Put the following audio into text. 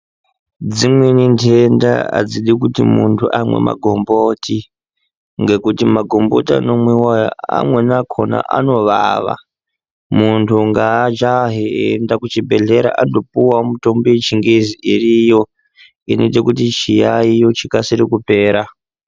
Dzimweni nhenda adzidi kuti munhu amwe magomboti ngekuti magomboti anomwiwa aya amweni akhona anovava. Munhu ngaajahe eiendawo kuzvibhedhlera andopuwe mitombo yechingezi iriyo inoite kuti chiyaiyo chikasire kupera.